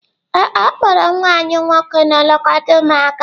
Ee e, ọ kpọọrọ nwa anyị nwoke na-elekọta ụmụaka.